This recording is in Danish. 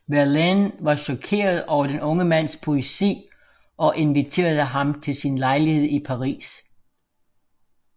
Verlaine var chokeret over den unge mands poesi og inviterede ham til sin lejlighed i Paris